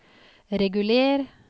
reguler